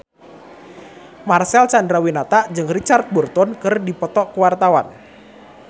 Marcel Chandrawinata jeung Richard Burton keur dipoto ku wartawan